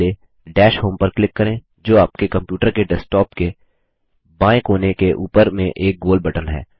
पहले dash home पर click करें जो आपके कंप्यूटर के डेस्कटॉप के बाएँ कोने के उपर में एक गोल बटन है